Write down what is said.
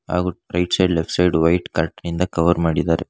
ಹಾಗೂ right side left side white curtain ನಿಂದ cover ಮಾಡಿದಾರೆ.